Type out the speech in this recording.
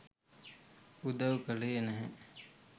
උදව් කළේ නැහැ.